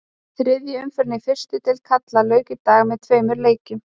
Þriðju umferðinni í fyrstu deild karla lauk í dag með tveimur leikjum.